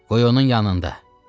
Qoy onun yanında.